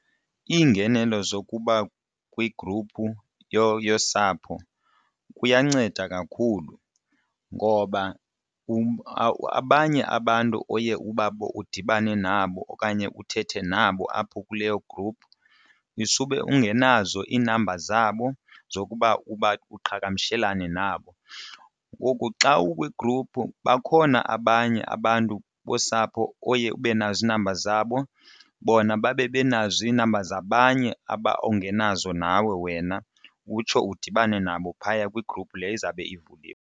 Iingenelo zokuba kwigruphu yosapho kuyanceda kakhulu ngoba abanye abantu oye ubabone udibane nabo okanye uthethe nabo apho kuleyo gruphu isube ungenazo inamba zabo zokuba uqhagamshelane nabo. Ngoku xa ukwigruphu bakhona abanye abantu bosapho oye ube nazo ii-numbers zabo bona babe benazo ii-numbers abanye abo ongenazo nawe wena utsho udibane nabo phaya kwigruphu le izawube ivuliwe.